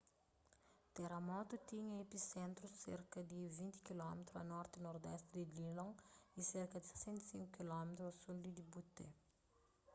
teramotu tinha episentru serka di 20 km a norti-nordesti di dillon y serka di 65 km a sul di butte